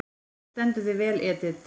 Þú stendur þig vel, Edit!